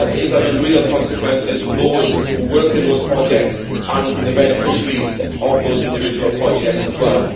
That is having real consequences for those who work in those projects and for the beneficiaries of those individual projects as well.